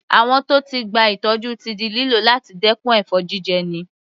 Àwọ̀n tó ti gba ìtọ́jú ti di lílò láti dẹkùn ẹ̀fọn jíjẹni.